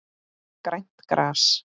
Grænt gras.